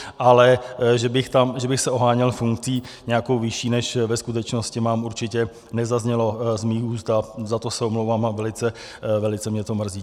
Ale že bych se oháněl funkcí nějakou vyšší, než ve skutečnosti mám, určitě nezaznělo z mých úst, a za to se omlouvám a velice mě to mrzí.